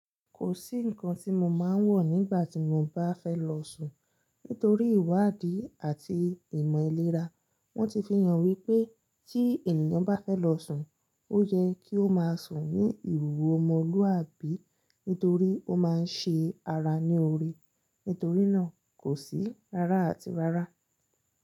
Kò sí ǹnkan tí mo máa ń wọ̀ nígbà tí mo bá fẹ́ lọ sùn. Nítorí ìwádìí àti ìmọ̀ ìlera, wọ́n ti fi hàn wípé tí ènìyàn bá fẹ́ lọ sùn, ó yẹ kí ó máa sùn ní ìwowo omolúàbí nítorí ó máa ń ṣe ara ní orí. Nítorí náà kò sí rárá àti rárá.